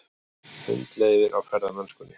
Hundleiðir á ferðamennskunni